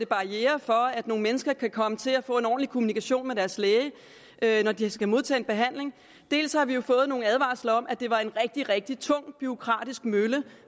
barrierer op for at nogle mennesker kan komme til at få en ordentlig kommunikation med deres læge når de skal modtage en behandling dels har vi fået nogle advarsler om at det var en rigtig rigtig tung bureaukratisk mølle